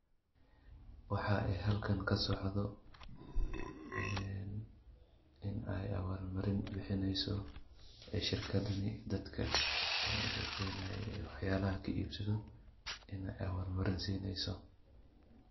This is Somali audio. Waxaa ee halkan ka socdo, in ay abaalmarin bixineyso shirkadani dadka ushaqeeynayey waxyaalaha ka iibsado inaay abaalmarin siineyso. .